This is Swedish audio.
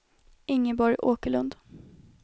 Ingeborg Åkerlund